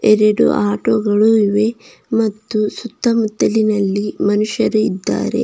ಇಂದು auto ಗಳು ಇವೆ ಮತ್ತು ಸುತ್ತಮುತ್ತಲಿನಲ್ಲಿ ಮನುಷ್ಯರು ಇದ್ದಾರೆ.